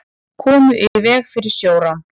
Komu í veg fyrir sjórán